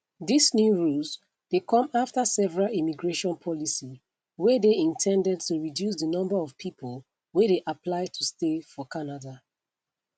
dis new rules dey come afta several immigration policy wey dey in ten ded to reduce di number of pipo wey dey apply to stay for canada